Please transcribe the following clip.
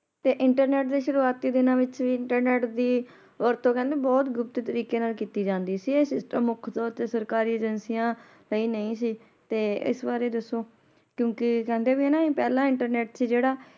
ਤੇ internet ਦੇ ਸ਼ੁਰੂਵਾਤੀ ਦਿੰਨਾ ਵਿਚ ਵੀ internet ਦਿ ਵਰਤੋਂ ਕਹਿੰਦੇ ਬਹੁਤ ਗੁਪਤ ਤਰੀਕੇ ਨਾਲ ਕਿੱਤੀ ਜਾਂਦੀ ਸੀ ਇਹ ਮੁਖਯ ਤੋਰ ਤੇ ਸਰਕਾਰੀ ਏਜੇਂਸੀਆਂ ਲਈ ਨਹੀਂ ਸੀ ਤੇ ਇਸ ਬਾਰੇ ਦੱਸੋ ਕਿਉਕਿ ਕਹਿੰਦੇ ਵੀ ਨਾ ਪਹਿਲਾ internet ਸੀ ਜੇੜਾ